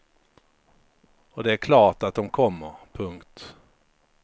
Och det är klart att dom kommer. punkt